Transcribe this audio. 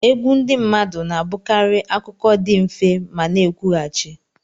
Egwu ndị mmadụ na-abụkarị akụkọ dị mfe ma na-ekwughachi.